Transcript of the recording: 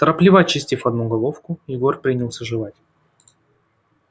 торопливо очистив одну головку егор принялся жевать